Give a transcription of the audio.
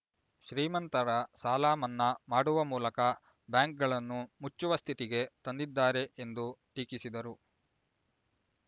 ಶ್ರೀಮಂತರ ಸಾಲ ಮನ್ನಾ ಮಾಡುವ ಮೂಲಕ ಬ್ಯಾಂಕ್‌ಗಳನ್ನು ಮುಚ್ಚುವ ಸ್ಥಿತಿಗೆ ತಂದಿದ್ದಾರೆ ಎಂದು ಟೀಕಿಸಿದರು